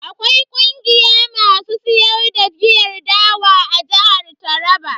Akwai kungiya masu siyar da giyar dawa a jihar Taraba.